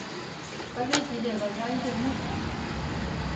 Kolenjin ne kanyoindet ng'ung'?